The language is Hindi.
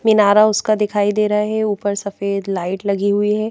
मिनारा उसका दिखाई दे रहा है ऊपर सफेद लाइट लगी हुई है।